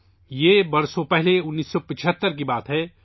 یہ برسوں پہلے سنہ انیس سو پچھتر کی بات ہے